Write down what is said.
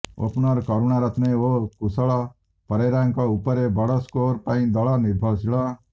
opener Karunaratne ଓ କୁଶଳ ପରେରାଙ୍କ ଉପରେ ବଡ଼ ସ୍କୋର ପାଇଁ ଦଳ ନିର୍ଭରଶୀଳ